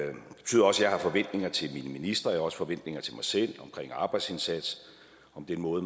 jeg har forventninger til mine ministre jeg også forventninger til mig selv omkring arbejdsindsats om den måde